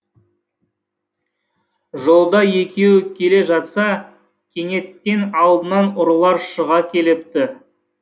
жолда екеуі келе жатса кенеттен алдынан ұрылар шыға келіпті